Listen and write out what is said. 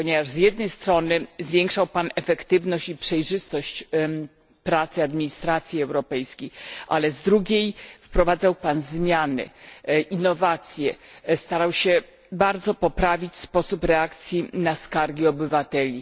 Z jednej strony zwiększył Pan efektywność i przejrzystość pracy administracji europejskiej, a z drugiej wprowadzał zmiany, innowacje, starał się bardzo poprawić sposób reakcji na skargi obywateli.